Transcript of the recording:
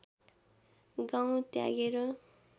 गाउँ त्यागेर